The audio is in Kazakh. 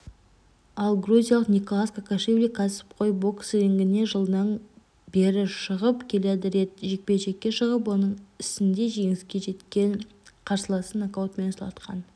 ал грузиялық николоз кокашвили кәсіпқой бокс рингіне жылдан бері шығып келеді рет жекпе-жекке шығып оның сінде жеңіске жеткен қарсыласын нокаутпен сұлатқан